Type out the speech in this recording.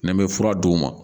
N'an bɛ fura d'u ma